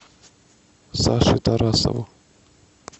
саше тарасову